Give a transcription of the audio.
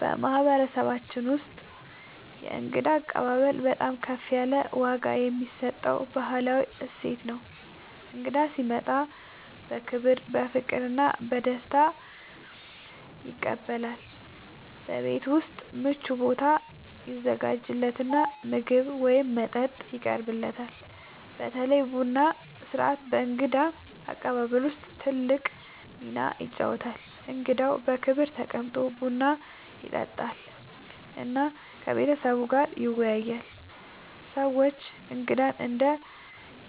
በማህበረሰባችን ውስጥ የእንግዳ አቀባበል በጣም ከፍ ያለ ዋጋ የሚሰጠው ባህላዊ እሴት ነው። እንግዳ ሲመጣ በክብር፣ በፍቅር እና በደስታ ይቀበላል፤ በቤት ውስጥ ምቹ ቦታ ይዘጋጃለት እና ምግብ ወይም መጠጥ ይቀርብለታል። በተለይ ቡና ሥርዓት በእንግዳ አቀባበል ውስጥ ትልቅ ሚና ይጫወታል፣ እንግዳው በክብር ተቀምጦ ቡና ይጠጣል እና ከቤተሰቡ ጋር ይወያያል። ሰዎች እንግዳን እንደ